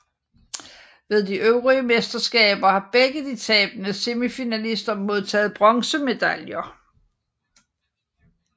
Ved de øvrige mesterskabet har begge de tabende semifinalister modtaget bronzemedaljer